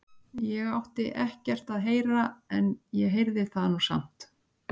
Ég átti ekkert að heyra þetta en ég heyrði það nú samt.